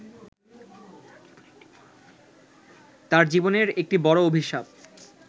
তাঁর জীবনের একটি বড় অভিশাপ